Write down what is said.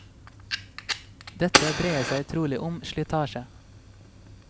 Dette dreier seg trolig om slitasje.